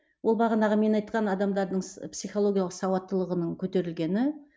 ол бағанағы мен айтқан адамдардың психологиялық сауаттылығының көтерілгені